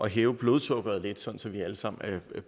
hæve blodsukkeret lidt så så vi alle sammen